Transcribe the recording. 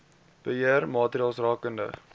beheer maatreëls rakende